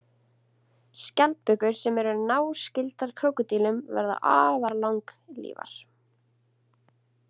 Skjaldbökur sem eru náskyldar krókódílum verða afar langlífar.